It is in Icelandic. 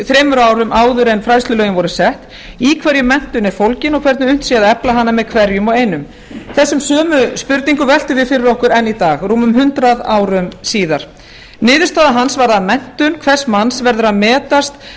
þremur árum áður en fræðslulögin voru sett í hverju menntun er fólgin og hvernig unnt sé að efla hana með hverjum og einum þessum sömu spurningum veltum við fyrir okkur enn í dag rúmum hundrað síðar niðurstaða hans var að menntun hvers manns verður að metast